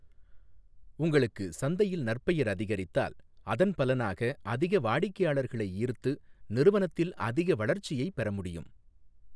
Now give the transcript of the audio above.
உங்களுக்கு சந்தையில் நற்பெயர் அதிகரித்தால், அதன் பலனாக அதிக வாடிக்கையாளர்களை ஈர்த்து நிறுவனத்தில் அதிக வளர்ச்சியை பெற முடியும்.